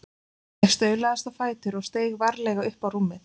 Ég staulaðist á fætur og steig varlega upp á rúmið.